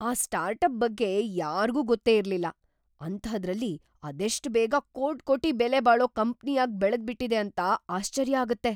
ಆ ಸ್ಟಾರ್ಟಪ್ ಬಗ್ಗೆ ಯಾರ್ಗೂ ಗೊತ್ತೇ ಇರ್ಲಿಲ್ಲ, ಅಂಥಾದ್ರಲ್ಲಿ ಅದೆಷ್ಟ್‌ ಬೇಗ ಕೋಟ್ಕೋಟಿ ಬೆಲೆಬಾಳೋ ಕಂಪ್ನಿಯಾಗ್ ಬೆಳೆದ್ಬಿಟಿದೆ ಅಂತ ಆಶ್ಚರ್ಯ ಆಗತ್ತೆ.